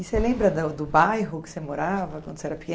E você lembra do bairro que você morava quando você era pequena?